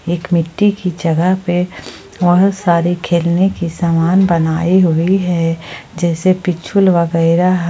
मिट्टी की जगह पर वह सारे खेलने की समान बनाई हुई है जैसे वगैरा--